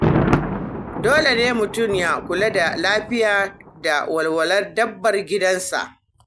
Dole ne mutum ya kula da lafiya da walwalar dabbar gidansa.